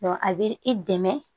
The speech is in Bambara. a bɛ i dɛmɛ